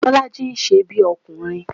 Bọ́lájí ń ṣe bí ọkùnrin